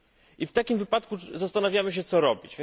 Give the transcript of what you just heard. I w takim wypadku zastanawiamy się, co robić.